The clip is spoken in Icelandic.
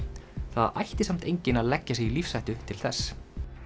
það ætti samt enginn að leggja sig í lífshættu til þess